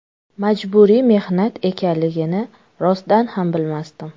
Majburiy mehnat ekanligini rostdan ham bilmasdim.